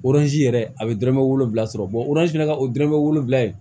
yɛrɛ a bɛ dɔrɔmɛ wolonwula sɔrɔ oranze fana ka o dɔrɔmɛ wolonvila ye